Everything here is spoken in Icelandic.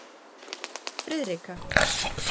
Friðrika